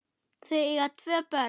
Þau eiga tvö börn